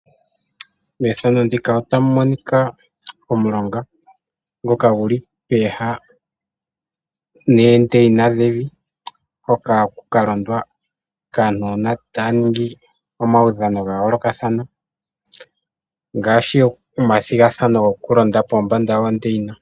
Omulonga ngoka guli pooha noondeyina dhevi hoka haku kalondwa kaanona taya ningi omaudhano gayoolokathana ngaashi taya ningi omathigathano gokulonda pombanda yoondeyina.